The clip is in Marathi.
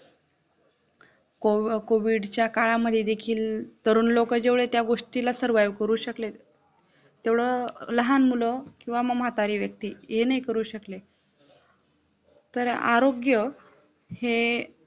कॉव्हि कोव्हिडच्या काळामध्ये देखील तरुण लोकं जेवढे त्या गोष्टीला survive करू शकलेत तेवढं लहान मुलं किंवा म म्हातारी व्यक्ती ये नाही करू शकले तर आरोग्य हे